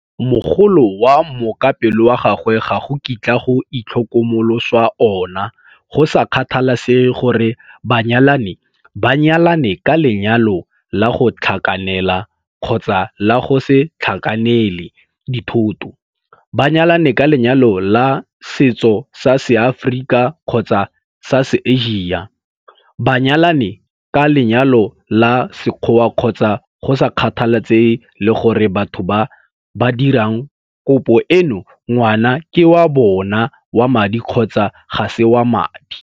Mogolo wa mookapelo wa gago ga go kitlwa go itlhokomoloswa ona go sa kgathalesege gore banyalani ba nyalane ka lenyalo la go tlhakanela kgotsa la go se tlhakanele dithoto, ba nyalane ka lenyalo la setso sa Seaforika kgotsa sa se-Asia, ba nyalane ka lenyalo la sekgoa kgotsa go sa kgathalesege le gore batho ba ba dirang kopo eno ngwana ke wa bona wa madi kgotsa ga se wa madi.